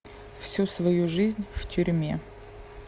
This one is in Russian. всю свою жизнь в тюрьме